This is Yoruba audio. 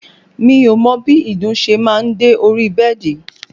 Mi ò mọ bí ìdun ṣe máa ń dé orí bẹ́ẹ̀dì